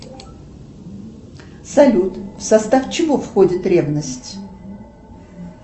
салют в состав чего входит ревность